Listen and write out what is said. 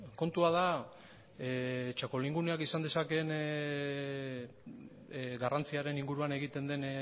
kontua da txakolinguneak izan dezakeen garrantziaren inguruan egiten den